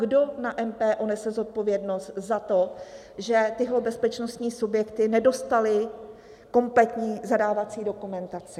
Kdo na MPO nese zodpovědnost za to, že tyhle bezpečnostní subjekty nedostaly kompletní zadávací dokumentaci?